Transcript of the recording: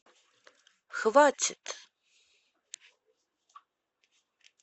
хватит